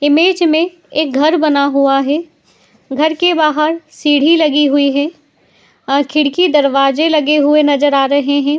Image में एक घर बना हुआ है। घर के बाहर सीढी लगी हुई है और खिड़की दरवाजे लगे हुए नजर आ रहे हैं।